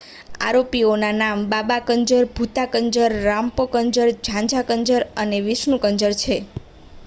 અરોપીઓના નામ બાબા કંજર ભુતા કંજર રામ્પ્રો કંજર ગઝા કંજર અને વિષ્ણુ કંજર છે